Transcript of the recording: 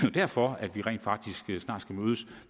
er derfor at vi rent faktisk snart skal mødes